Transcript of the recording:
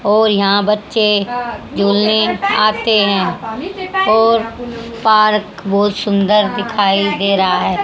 और यहां बच्चे झूलने आते हैं और पार्क बहुत सुंदर दिखाई दे रहा है।